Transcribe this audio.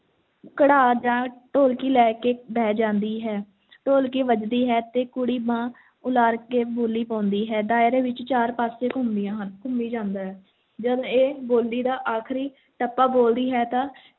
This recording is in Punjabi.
ਘੜਾ ਜਾਂ ਢੋਲਕੀ ਲੈ ਕੇ ਬਹਿ ਜਾਂਦੀ ਹੈ, ਢੋਲਕੀ ਵੱਜਦੀ ਹੈ ਤੇ ਕੁੜੀ ਬਾਂਹ ਉਲਾਰ ਕੇ ਬੋਲੀ ਪਾਉਂਦੀ ਹੈ, ਦਾਇਰੇ ਵਿੱਚ ਚਾਰੇ ਪਾਸੇ ਘੁੰਮਦੀਆਂ ਹਨ, ਘੁੰਮੀ ਜਾਂਦਾ ਹੈ, ਜਦ ਇਹ ਬੋਲੀ ਦਾ ਆਖ਼ਰੀ ਟੱਪਾ ਬੋਲਦੀ ਹੈ ਤਾਂ